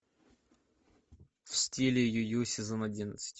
в стиле ю ю сезон одиннадцать